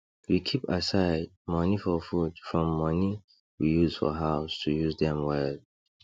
we keep aside money for food from money we use for house to use dem well